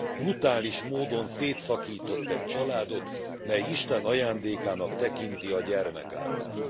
Brutális módon szétszakított egy családot, mely Isten ajándékának tekinti a gyermekáldást.